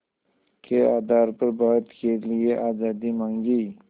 के आधार पर भारत के लिए आज़ादी मांगी